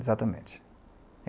Exatamente.